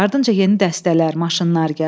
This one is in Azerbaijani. Ardınca yeni dəstələr, maşınlar gəldi.